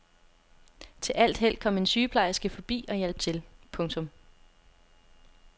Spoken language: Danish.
Til alt held kom en sygeplejerske forbi og hjalp til. punktum